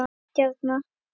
Ný stjarna